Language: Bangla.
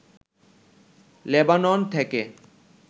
লেবানন থেকে